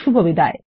শুভবিদায়